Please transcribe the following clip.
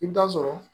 I bɛ taa sɔrɔ